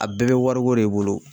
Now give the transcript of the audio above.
A bɛɛ be wariko de bolo